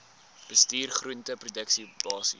bestuur groenteproduksie basiese